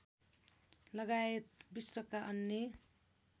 लगायत विश्वका अन्य